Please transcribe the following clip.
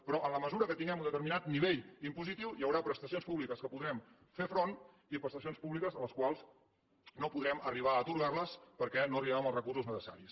però en la mesura que tinguem un determinat nivell impositiu hi haurà prestacions públiques a les quals podrem fer front i prestacions públiques a les quals no podrem arribar a atorgar les perquè no hi arribem amb els recursos necessaris